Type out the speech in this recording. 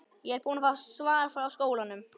Ég er búin að fá svar frá skólanum.